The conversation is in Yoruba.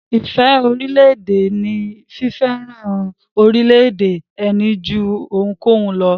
Ìfẹ́ sí orílẹ̀-èdè ní fífẹ́ràn orílẹ̀-èdè ẹni jú ohunkóhun lọ.